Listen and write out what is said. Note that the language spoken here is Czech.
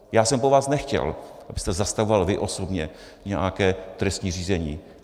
Já jsem po vás nechtěl, abyste zastavoval vy osobně nějaké trestní řízení.